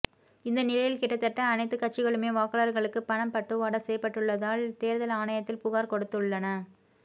இந்த நிலையில் கிட்டத்தட்ட அனைத்து கட்சிகளுமே வாக்காளர்களுக்கு பணம் பட்டுவாடா செய்யப்பட்டுள்ளதால தேர்தல் ஆணையத்தில் புகார் கொடுத்துள்ளன